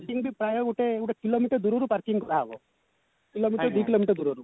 parking ବି ପ୍ରାୟ ଗୋଟେ କିଲୋମିଟର ଦୂରରୁ parking କରା ହବ କିଲୋମିଟର ଦି କିଲୋମିଟର ଦୂରରୁ